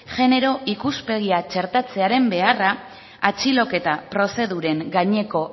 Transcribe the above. genero ikuspegia txertatzearen beharra atxiloketa prozeduren gaineko